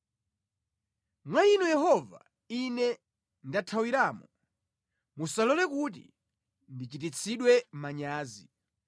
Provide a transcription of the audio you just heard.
Mwa Inu Yehova ine ndathawiramo; musalole kuti ndichititsidwe manyazi.